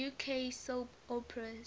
uk soap operas